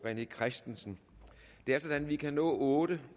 rené christensen det er sådan at vi kan nå otte